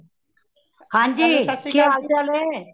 ਹਾਂਜੀ ਕੀ ਹਾਲ ਚਾਲ ਏ